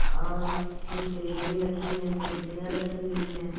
और कुछ टेबले रखी है कुर्सियां रखी हुई है।